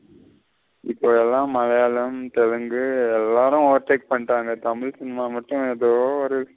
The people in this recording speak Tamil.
இப்போ எல்லாம் மலையாளம், தெலுங்கு எல்லாரும் overtake பண்ணிட்டாங்க. தமிழ் cinema மட்டும் எதோ ஒரு இது.